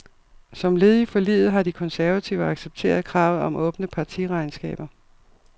Som led i forliget har de konservative accepteret kravet om åbne partiregnskaber.